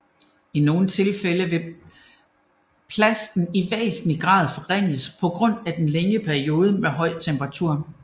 I nogle tilfælde vil plasten i væsentlig grad forringes på grund af den længere periode med høj temperatur